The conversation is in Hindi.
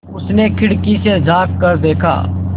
उसने खिड़की से झाँक कर देखा